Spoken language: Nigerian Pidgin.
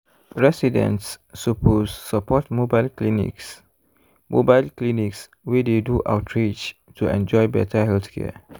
residents suppose support mobile clinics mobile clinics wey dey do outreach to enjoy better healthcare.